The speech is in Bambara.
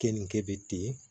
Keninge bɛ ten